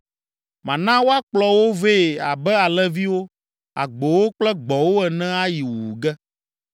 “Mana woakplɔ wo vɛ abe alẽviwo, agbowo kple gbɔ̃wo ene ayi wuwu ge.